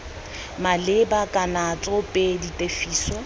maleba kana c tsoopedi tefiso